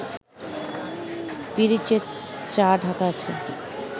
পিরিচে চা ঢাকা আছে